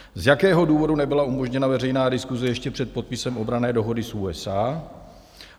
Z jakého důvodu nebyla umožněna veřejná diskuse ještě před podpisem obranné dohody s USA?